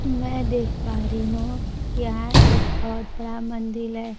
मैं देख पा रही हूं यहां एक बहुत बड़ा मंदिल है।